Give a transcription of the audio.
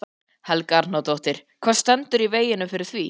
Helga Arnardóttir: Hvað stendur í veginum fyrir því?